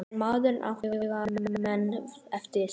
En maður náttúrlega man eftir þeim.